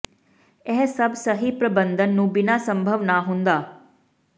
ਇਹ ਸਭ ਸਹੀ ਪ੍ਰਬੰਧਨ ਨੂੰ ਬਿਨਾ ਸੰਭਵ ਨਾ ਹੁੰਦਾ